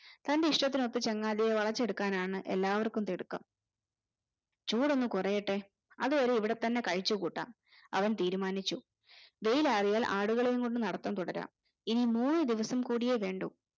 തന്റെ ഇഷ്ടത്തിനൊത്തു ചങ്ങാതിയെ വളചെടുക്കാനാണ് എല്ലാവര്ക്കും തിടുക്കം ചൂടൊന്നു കുറയട്ടെ അതുവരെ ഇവിടെതന്നെ കഴിച്ചു കൂട്ടാം അവൻ തീരുമാനിച്ചു വെയിൽ ആറിയാൽ ആടുകളെയും കൊണ്ട് നടത്തം തുടരാം ഇനി മൂന്ന് ദിവസം കൂടിയേ വേണ്ടു